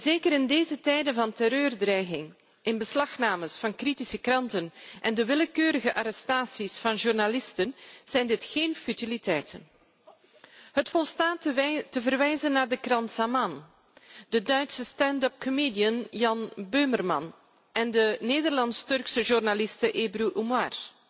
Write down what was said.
Zeker in deze tijden van terreurdreiging, inbeslagnames van kritische kranten en de willekeurige arrestaties van journalisten zijn dit geen futiliteiten. Het volstaat te verwijzen naar de krant Zaman, de Duitse stand upcomedian Jan Böhmermann en de Nederlands Turkse journaliste Ebru Umar.